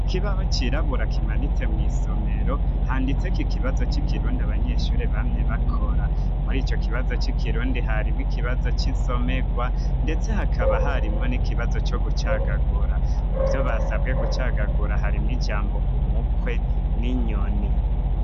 ikibaho cirabura kimanitse mw'isomero handitseko ikibazo c'ikirundi abanyeshuri bamye bakora muri ico kibazo c'ikirundi harimwo ikibazo c'insomegwa ndetse hakaba harimwo n'ikibazo co gucagagura muvyo basabwe gucagagura harimwo ijambo umukwe n'inyoni